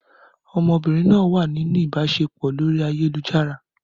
Ọmọbìnrin náà wà nínú ìbáṣepọ̀ lórí ayélujára.